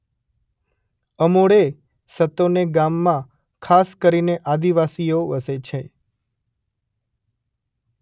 અમોડે સતોને ગામમાં ખાસ કરીને આદિવાસીઓ વસે છે.